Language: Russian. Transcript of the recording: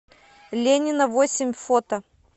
ленина восемь фото